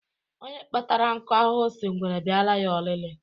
Onye kpatara nkụ ahụhụ sị ngwere bịara ya ọlịlị.